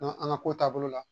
an ka ko taabolo la